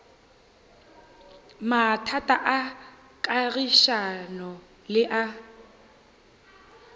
mathata a kagišano le a